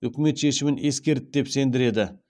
үкімет шешімін ескерді деп сендіреді